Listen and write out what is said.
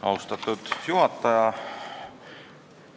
Austatud juhataja!